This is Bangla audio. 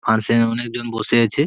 আর সে অনেকজন বসে আছে।